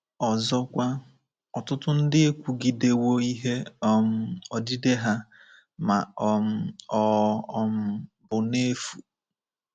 Ọzọkwa, ọtụtụ ndị ekwugidewo ihe um odide ha, ma um ọ um bụ n'efu.